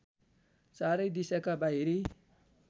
चारै दिशाका बाहिरी